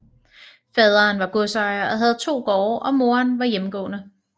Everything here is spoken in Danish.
Faderen var godsejer og havde to gårde og moderen var hjemmegående